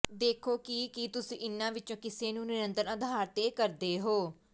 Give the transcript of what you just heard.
ਦੇਖੋ ਕਿ ਕੀ ਤੁਸੀਂ ਇਨ੍ਹਾਂ ਵਿਚੋਂ ਕਿਸੇ ਨੂੰ ਨਿਰੰਤਰ ਆਧਾਰ ਤੇ ਕਰਦੇ ਹੋ